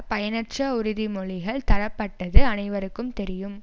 பயனற்ற உறுதிமொழிகள் தரப்பட்டது அனைவருக்கும் தெரியும்